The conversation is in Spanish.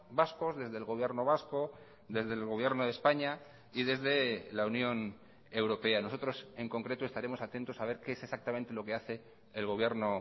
vascos desde el gobierno vasco desde el gobierno de españa y desde la unión europea nosotros en concreto estaremos atentos a ver qué es exactamente lo que hace el gobierno